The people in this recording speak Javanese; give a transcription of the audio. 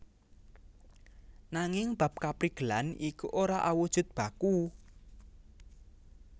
Nanging bab kaprigelan iku ora awujud baku